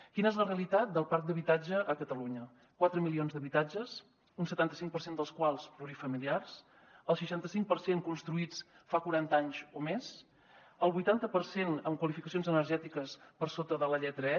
quina és la realitat del parc d’habitatge a catalunya quatre milions d’habitatges un setanta cinc per cent dels quals plurifamiliars el seixanta cinc per cent construïts fa quaranta anys o més el vuitanta per cent amb qualificacions energètiques per sota de la lletra e